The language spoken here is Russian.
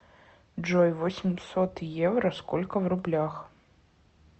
джой восемьсот евро сколько в рублях